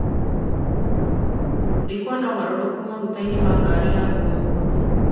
Ndikuona mogarũrũku ma maguta ngari-inĩ yakwa ũmũthĩ .